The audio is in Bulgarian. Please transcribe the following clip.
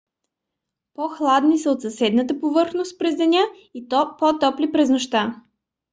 по-хладни са от съседната повърхност през деня и по-топли през нощта